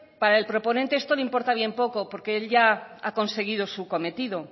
para el proponente esto le importa bien poco porque él ya ha conseguido su cometido